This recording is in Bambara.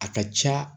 A ka ca